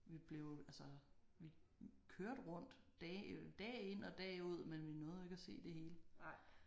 Vi blev altså vi kørte rundt dag dag ind og dag ud men vi nåede jo ikke at se det hele